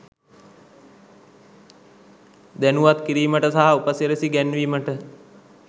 දැනුවත් කිරීමට සහ උපසිරැසි ගැන්වීමට.